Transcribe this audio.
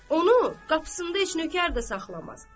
Onu qapısında heç nökər də saxlamaz.